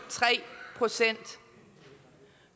procent